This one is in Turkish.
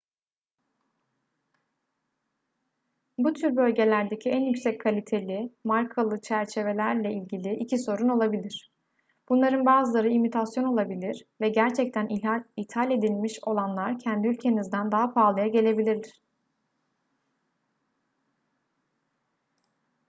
bu tür bölgelerdeki en yüksek kaliteli markalı çerçevelerle ilgili iki sorun olabilir bunların bazıları imitasyon olabilir ve gerçekten ithal edilmiş olanlar kendi ülkenizden daha pahalıya gelebilir